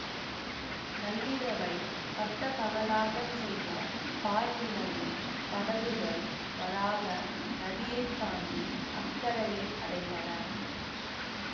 நள்ளிரவைப் பட்டப்பகலாகச் செய்த பால் நிலவில் படகுகள் வராக நதியைத் தாண்டி அக்கரையை அடைந்தன